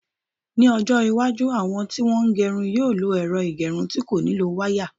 Ní ọjọ́-iwájú, àwọn tí wọ́n ń gerun yóò lo ẹ̀rọ ìgẹrun tí kò nílò wáyà.